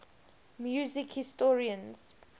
music historians